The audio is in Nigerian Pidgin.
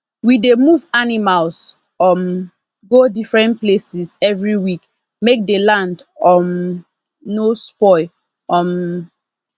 we dey move animals um go different places every week make the land um no spoil um